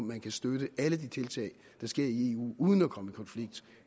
man kan støtte alle de tiltag der sker i eu uden at komme i konflikt